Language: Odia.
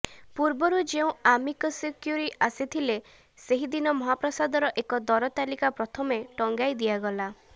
ପୂର୍ବରୁ ଯେଉଁ ଆମିକସକ୍ୟୁରୀ ଆସିଥିଲେ ସେହିଦିନ ମହାପ୍ରସାଦର ଏକ ଦର ତାଲିକା ପ୍ରଥମେ ଟଙ୍ଗାଇ ଦିଆଗଲା